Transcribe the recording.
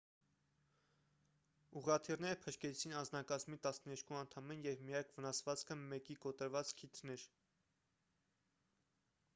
ուղղաթիռները փրկեցին անձնակազմի տասներկու անդամին և միակ վնասվածքը մեկի կոտրված քիթն էր